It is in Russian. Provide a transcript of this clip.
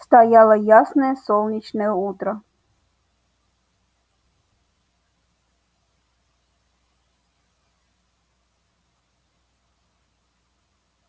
стояло ясное солнечное утро